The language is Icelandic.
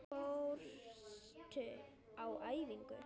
Fórstu á æfingu?